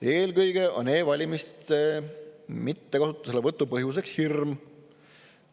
Eelkõige on e-valimiste mittekasutamise põhjuseks hirm.